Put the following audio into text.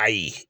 Ayi